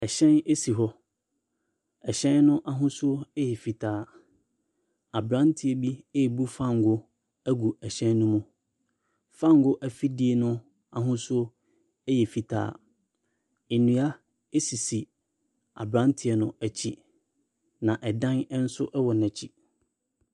Hyɛn si hɔ. Hyɛn no ahosuo yɛ fitaa. Aberanteɛ bi rebu fangoo agu hyɛn no mu. Fangoo afidie no ahosuo yɛ fitaa. Nnua sisi aberanteɛ no akyi, na dan nso wɔ n'akyi.